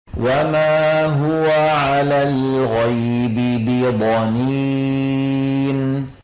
وَمَا هُوَ عَلَى الْغَيْبِ بِضَنِينٍ